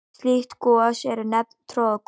Slík gos eru nefnd troðgos.